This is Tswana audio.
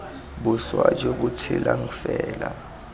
boswa jo bo tshelang fela